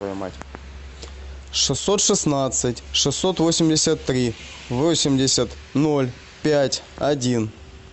шестьсот шестнадцать шестьсот восемьдесят три восемьдесят ноль пять один